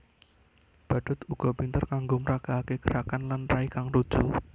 Badhut uga pinter kanggo mragakaké gerakan lan rai kang lucu